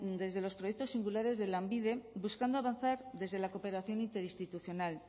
desde los proyectos singulares de lanbide buscando avanzar desde la cooperación interinstitucional